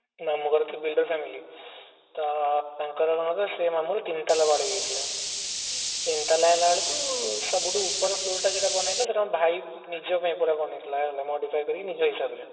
ମାମୁ ଘର builder family ତ ତାଙ୍କର କଣ କି ସେଇ ମାମୁ ତିନ ତାଲା ବାଡେଇ ଦେଇଥିଲେ ତିନତଲା ହେଲା ବେଳକୁ ସବୁଠୁ ଉପର floor ଯୋଉଟା ବନ ହେଇଥିଲା ସେଇଟା ଭାଇ ନିଜ ପାଇଁ ପୁରା ବନେଇଥିଲା ହେଲା modify କରିକି ନିଜ ହିସାବରେ